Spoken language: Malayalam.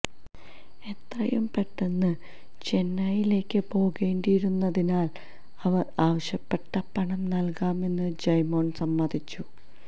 എത്രയും പെട്ടെന്ന് ചെന്നൈയിലേക്ക് പോകേണ്ടിയിരുന്നതിനാൽ അവർ ആവശ്യപ്പെട്ട പണം നൽകാമെന്ന് ജയ്മോൻ സമ്മതിച്ചു